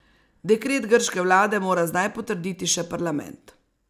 Dekret grške vlade mora zdaj potrditi še parlament.